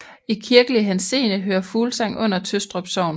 I kirkelig henseende hører Fuglsang under Tøstrup Sogn